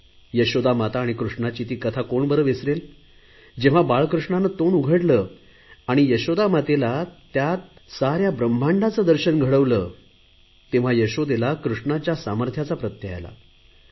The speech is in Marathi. यशोदा माता आणि कृष्णाची ती कथा कोण बरे विसरेल जेव्हा बालकृष्णाने तोंड उघडले आणि यशोदामातेला त्यात साऱ्या ब्रम्हांडाचे दर्शन घडवले तेव्हा यशोदेला कृष्णाच्या सामर्थ्यांचा प्रत्यय आला